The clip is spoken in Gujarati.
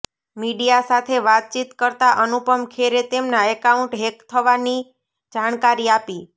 મીડિયા સાથે વાતચીત કરતા અનુપમ ખેરે તેમના એકાઉન્ટ હેક થવાની જાણકારી આપી